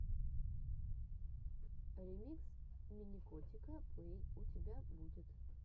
ремикс миникотика плэй у тебя будет